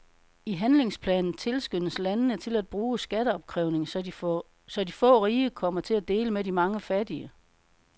I handlingsplanen tilskyndes landene til at bruge skatteopkrævning, så de få rige kommer til at dele med de mange fattige.